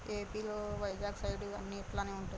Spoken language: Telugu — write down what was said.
ఏ పి లో వైజాగ్ సైడ్ అన్నీ ఇట్లాగే ఉంటది.